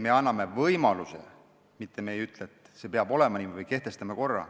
Me anname selle võimaluse, me ei ütle, et see peab olema nii või et me kehtestame korra.